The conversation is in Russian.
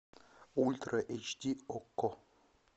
ультра эйч ди окко